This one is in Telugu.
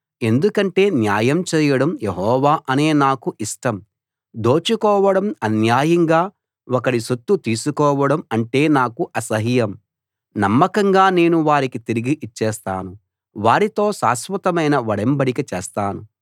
ఎందుకంటే న్యాయం చేయడం యెహోవా అనే నాకు ఇష్టం దోచుకోవడం అన్యాయంగా ఒకడి సొత్తు తీసుకోవడం అంటే నాకు అసహ్యం నమ్మకంగా నేను వారికి తిరిగి ఇచ్చేస్తాను వారితో శాశ్వతమైన ఒడంబడిక చేస్తాను